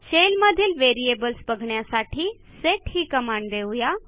shell मधीलVariables बघण्यासाठी set ही कमांड देऊ या